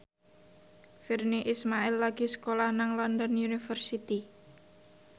Virnie Ismail lagi sekolah nang London University